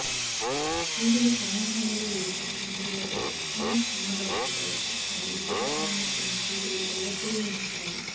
సూదులు సమూహాలలో లేదా గుంటలలో ఒక చిన్న కొమ్మలో చూడవచ్చు మరియు శీతాకాలంలో కొన్ని సూదులు ఎల్లప్పుడూ ఉంచుతాయి